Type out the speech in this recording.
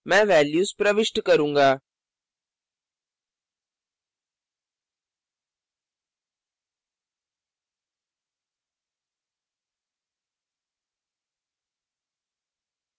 मैं values प्रविष्ट करूँगा